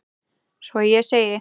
Svo ég segi: